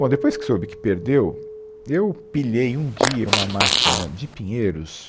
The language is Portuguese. Bom, depois que soube que perdeu, eu pilhei um dia uma máquina de pinheiros